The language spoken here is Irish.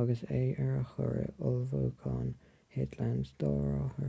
agus é ar a chuaird ullmhúcháin thit lenz dá rothar